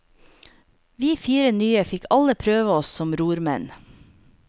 Vi fire nye fikk alle prøve oss som rormenn.